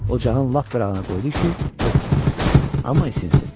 Ocağın lap qırağına qoydu ki, od tutmasın, amma isinsin.